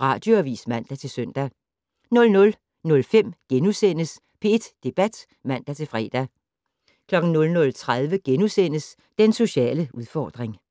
Radioavis (man-søn) 00:05: P1 Debat *(man-fre) 00:30: Den sociale udfordring *